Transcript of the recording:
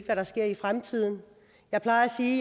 hvad der sker i fremtiden jeg plejer at sige